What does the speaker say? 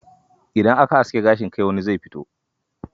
Idan aka aske gashin kai, wani zai fito.